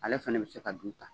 Ale fɛnɛ bi se ka du ta